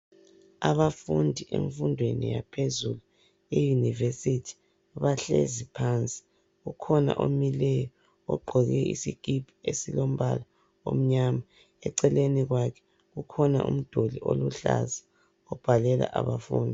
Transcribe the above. Abafundi emfundweni yaphezulu e"University "bahlezi phansi kukhona omileyo ogqoke isikipa esilombala omnyama eceleni kwakhe kukhona umduli oluhlaza obhalela abafundi.